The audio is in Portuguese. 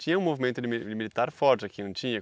Tinha um movimento limi militar forte aqui, não tinha?